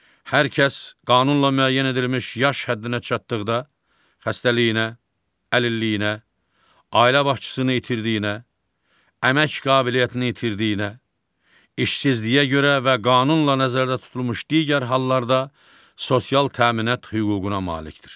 Hər kəs qanunla müəyyən edilmiş yaş həddinə çatdıqda, xəstəliyinə, əlilliyinə, ailə başçısını itirdiyinə, əmək qabiliyyətini itirdiyinə, işsizliyə görə və qanunla nəzərdə tutulmuş digər hallarda sosial təminat hüququna malikdir.